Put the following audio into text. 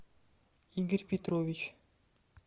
игорь петрович